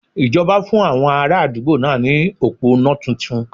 Ìjọba fún àwọn ara àdúgbò náà ní òpó iná titun